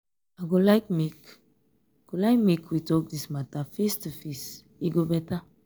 make sure say sure say you dey lis ten well before you talk back.